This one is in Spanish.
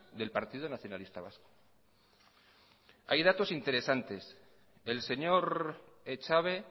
del partido nacionalista vasco hay datos interesantes el señor echave